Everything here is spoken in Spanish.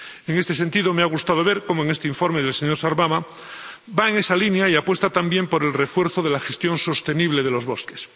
En este sentido, me ha gustado ver cómo este informe del señor Sarvamaa va en esa línea y apuesta también por el refuerzo de la gestión sostenible de los bosques.